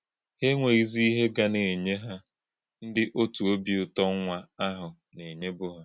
Hà̄ èǹwè̄nyì̄zì̄ íhè̄ gà nà - ènyè̄ hà̄ ǹdí̄ ọ̀tụ̀ ọ́bì ụ̀tọ́ nwá̄ àhụ̄ nà.